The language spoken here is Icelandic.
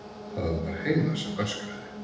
Það var Heiða sem öskraði.